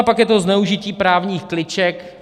A pak je to zneužití právních kliček.